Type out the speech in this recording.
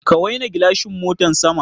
Ka waina gilashin motan sama.